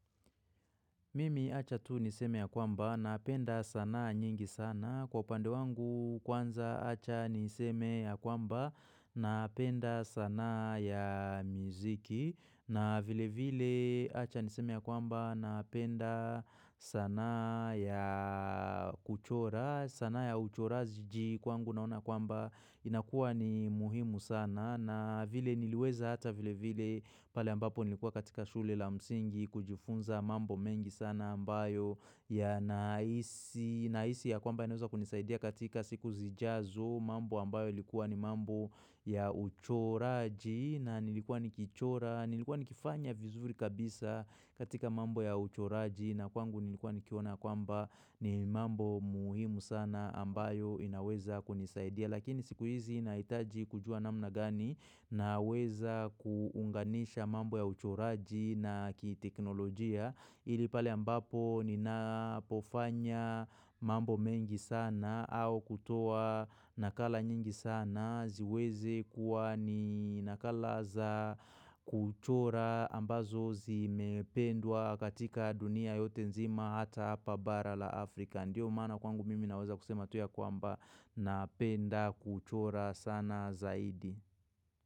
Mimi acha tu niseme ya kwamba, napenda sanaa nyingi sana. Kwa upande wangu kwanza acha niseme ya kwamba, napenda sanaa ya miziki. Na vile vile acha niseme ya kwamba, napenda sanaa ya kuchora. Sanaa ya uchoraji kwangu naona kwamba inakua ni muhimu sana. Na vile niliweza hata vile vile pale ambapo nilikuwa katika shule la msingi kujifunza mambo mengi sana ambayo yanahisi nahisi ya kwamba inaeza kunisaidia katika siku zijazo mambo ambayo ilikuwa ni mambo ya uchoraji na nilikuwa nikichora nilikuwa nikifanya vizuri kabisa katika mambo ya uchoraji na kwangu nilikuwa nikiona kwamba ni mambo muhimu sana ambayo inaweza kunisaidia. Lakini siku hizi inahitaji kujua namna gani naweza kuunganisha mambo ya uchoraji na kiteknolojia ili pale ambapo ninapofanya mambo mengi sana au kutoa nakala nyingi sana ziweze kuwa ni nakala za kuchora ambazo zimependwa katika dunia yote nzima hata hapa bara la Afrika Ndiyo maana kwangu mimi naweza kusema tu ya kwamba napenda kuchora sana zaidi.